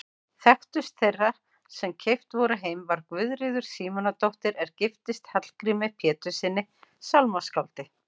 Þekktust þeirra sem keypt voru heim var Guðríður Símonardóttir er giftist Hallgrími Péturssyni sálmaskáldi.